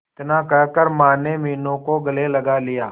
इतना कहकर माने मीनू को गले लगा लिया